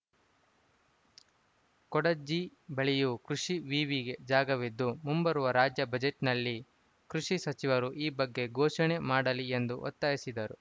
ಕೊಂಡಜ್ಜಿ ಬಳಿಯೂ ಕೃಷಿ ವಿವಿಗೆ ಜಾಗವಿದ್ದು ಮುಂಬರುವ ರಾಜ್ಯ ಬಜೆಟ್‌ನಲ್ಲಿ ಕೃಷಿ ಸಚಿವರು ಈ ಬಗ್ಗೆ ಘೋಷಣೆ ಮಾಡಲಿ ಎಂದು ಒತ್ತಾಯಿಸಿದರು